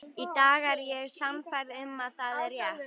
Í dag er ég sannfærð um að það er rétt.